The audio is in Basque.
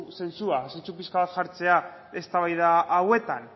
zentzua zentzu pixka bat jartzea eztabaida hauetan